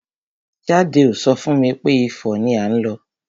Jade ò so fún mi pé Ifo ni à ń lọ.